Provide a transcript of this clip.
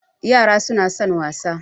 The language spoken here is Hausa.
Yara suna son wasa